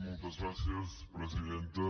moltes gràcies presidenta